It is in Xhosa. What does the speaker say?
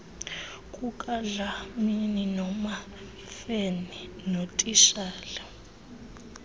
kukadlamini nomamfene notitshala